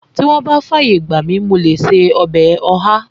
Tí wọ́n bá fàyè gbà mi, mo lè ṣe ọbẹ̀ ọ̀há